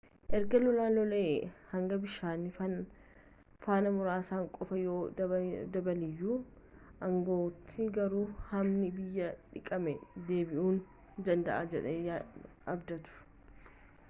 eerga lolaan lola'ee hangi bishaanii faana muraasaan qofa yoo dabaleyyuu aangawootni garuu hammi biyyee dhiqamee deebi'uu danda'a jedhanii abdatuu